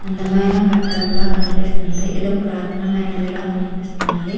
అందమైన కట్టడం లా కనిపిస్తుంది. ఇది ఒక పురాతన మైనదిగా కనిపిస్తుంది.